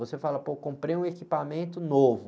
Você fala, pô, comprei um equipamento novo.